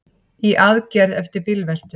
Í aðgerð eftir bílveltu